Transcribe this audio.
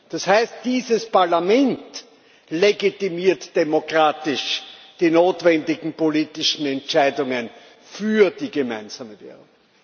Das heißt Dieses Parlament legitimiert demokratisch die notwendigen politischen Entscheidungen für die gemeinsame Währung.